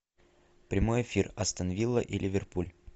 прямой эфир астон вилла и ливерпуль